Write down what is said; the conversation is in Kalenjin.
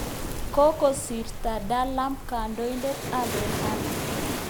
Kokosirto Dhlakama kandoindet ab RENAMO